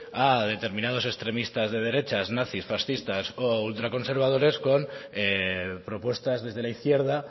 a determinados extremistas de derechas nazis fascistas o ultraconservadores con propuestas desde la izquierda